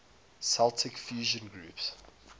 celtic fusion groups